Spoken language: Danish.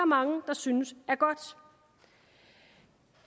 mange der synes er godt